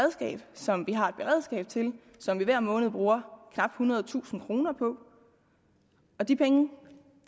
som vi har et beredskab til og som vi hver måned bruger knap ethundredetusind kroner på og de penge